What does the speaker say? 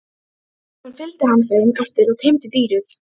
Síðan fylgdi hann þeim eftir og teymdi dýrið.